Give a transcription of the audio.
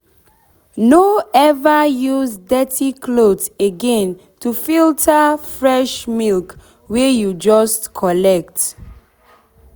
no ever use dirty cloth again to filter fresh milk wey wey you just collect.